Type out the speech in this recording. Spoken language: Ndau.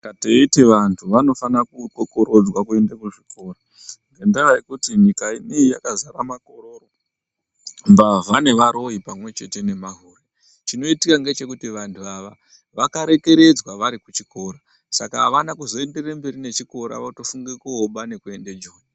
Saka teiti vantu vanofana kukokorodzwa kuenda kuzvikora ngendaa yekuti nyika inei yakazara makororo, mbavha nevaroyi pamwechete nemahure chinoitika ngechekuti vantu ava vakarekeredzwa vari kuchikora saka avana kuzoenderere mberi nechikira votofunga koba nekuende joni.